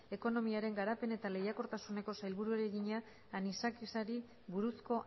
ekonomiaren garapen eta lehiakortasuneko sailburuari egina anisakisari buruzko